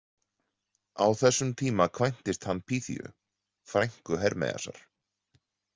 Á þessum tíma kvæntist hann Pyþíu, frænku Hermeiasar.